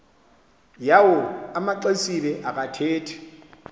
yawo amaxesibe akathethi